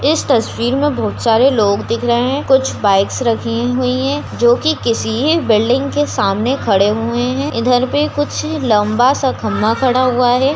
इस तस्वीर मे बोहत सारे लोग दिख रहे है कुछ बाइक्स रखी हुई है जो की किसी बिल्डिंग के सामने खड़े हुए है इधर पे कुछ लंबा सा खंभा खड़ा हुआ है।